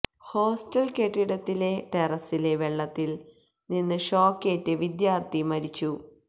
hostel കെട്ടിടത്തിലെ ടെറസിലെ വെള്ളത്തില് നിന്ന് ഷോക്കേറ്റ് വിദ്യാര്ഥി മരിച്ചു